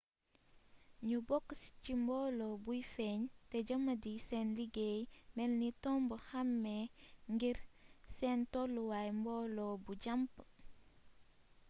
ñu bokk ci mboolo buy feeñ te jëmmadi sen liggéey melni tomb xamee ngir sen tolluway mboolo bu jamp